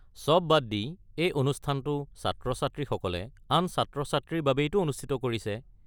চব বাদ দি, এই অনুষ্ঠানটো ছাত্ৰ-ছাত্ৰীসকলে আন ছাত্ৰ-ছাত্ৰীৰ বাবেইটো অনুষ্ঠিত কৰিছে।